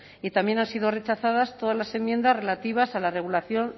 y también han sido rechazadas todas las enmiendas relativas a la regulación